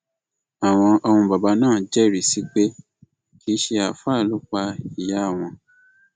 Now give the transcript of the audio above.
àwọn ọmọ bàbá náà jẹrìí sí i pé kì í ṣe àáfàá ló pa ìyá àwọn